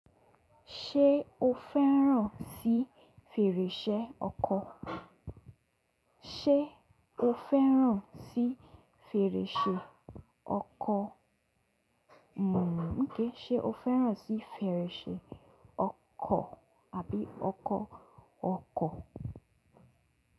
Ṣé o fẹ́ràn sí fèrèṣẹ ọkọ̀? Ṣé o fẹ́ràn sí fèrèsé ọkọ̀? Mm okay. Ṣé o fẹ́ràn sí fẹrẹsé ọkọ̀ àbí ọkọ̀ ọkọ̀?